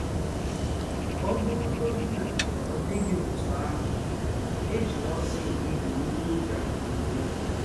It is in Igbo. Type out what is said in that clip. Ọ bụrụgọdị na ọ dị gị ọtụ ahụ, ejila ọsọ ekpebi ihe ị ga - eme.